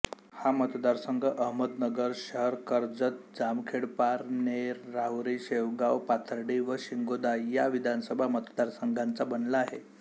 हा मतदारसंघ अहमदनगर शहरकर्जतजामखेडपारनेरराहुरीशेवगावपाथर्डी व श्रीगोंदा या विधानसभा मतदारसंघांचा बनला आहे